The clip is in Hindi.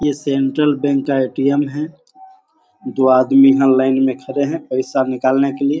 ये सेंट्रल बैंक का ए.टी.एम. है। दो आदमी यहां लाइन में खड़े है‍‌ पैसा निकालने के लिए --